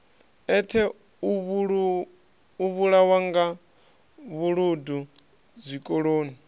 eṱhe u vhulawanga vhuludu zwikoloni